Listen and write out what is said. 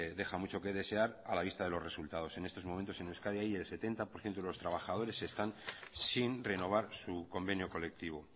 deja mucho que desear a la vista de los resultados en estos momentos en euskadi hay el setenta por ciento de los trabajadores están sin renovar su convenio colectivo